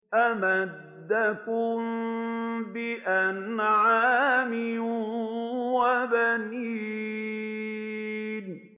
أَمَدَّكُم بِأَنْعَامٍ وَبَنِينَ